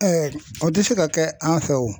o tɛ se ka kɛ an fɛ wo .